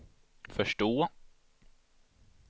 förstå